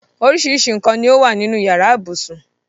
Orísirísi nǹkan ni ó wà nínú yàrá ibùsùn.